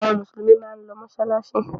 Àwọn Mùsùlùmí máa ń lọ mọ́ṣáláṣí.